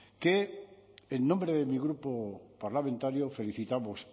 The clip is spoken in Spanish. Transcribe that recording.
que en nombre de mi grupo parlamentario felicitamos